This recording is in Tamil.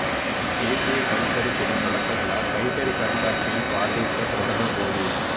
தேசிய கைத்தறி தின தொடக்க விழா கைத்தறி கண்காட்சியை பார்வையிட்ட பிரதமர் மோடி